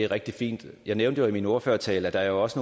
rigtig fint jeg nævnte jo i min ordførertale at der også